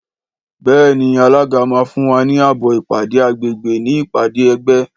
Béèni alága ma fún wa ní ààbò ìpàdé àgbègbè ní ìpàdé ẹgbẹ́